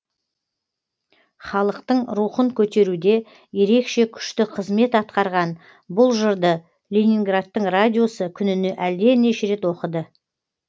халықтың рухын көтеруде ерекше күшті қызмет атқарған бұл жырды ленинградтың радиосы күніне әлденеше рет оқыды